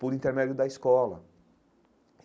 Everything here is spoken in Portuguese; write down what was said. Por intermédio da escola.